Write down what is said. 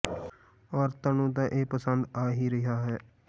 ਔਰਤਾਂ ਨੂੰ ਤਾਂ ਇਹ ਪਸੰਦ ਆ ਹੀ ਰਿਹਾ ਹੈ